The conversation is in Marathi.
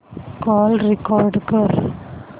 कॉल रेकॉर्ड कर